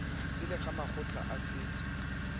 pele ga makgotla a setso